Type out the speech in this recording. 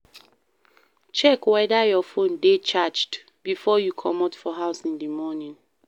check weda your phone dey charged before you comot for house in the morning